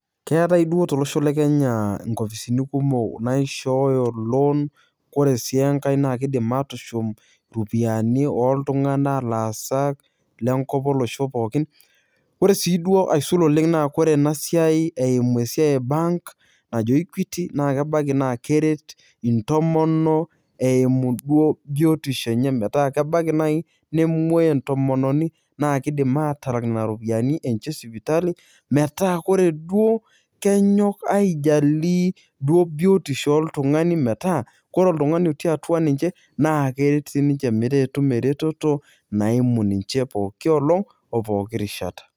Keetai toi tolosho le Kenya nkopisini kumok naishooyo loan ore sii enkae naa kiidim aatushum iropiyiani oltung'anak laasak lenkop olosho pookin ore sii duoo aisul oleng' naa ore ena siai eimu esiai e bank najo Equity naa kebaiki naa keret ntomonok eimu biotisho enye metaa kebaiki naai nemwuoi entomononi naa kiidim atala nena ropiyiani enye esipitali metaa ore duo kenyok aijalie duo biotisho oltung'ani metaa otii atua ninche naa keretu ninche metaa ketum eretoto naimu ninche pooki olong' opooki rishata.